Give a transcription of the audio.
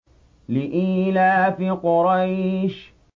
لِإِيلَافِ قُرَيْشٍ